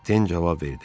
Den cavab verdi: